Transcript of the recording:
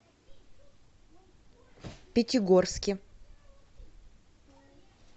пятигорске